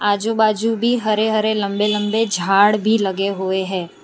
आजू बाजू भी हरे हरे लंबे लंबे झाड़ भी लगे हुए है।